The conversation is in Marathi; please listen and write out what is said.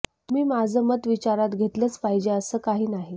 तुम्ही माझं मत विचारात घेतलच पाहिजे असं काही नाही